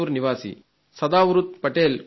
సదావృత్ పేట్ కుమార్తె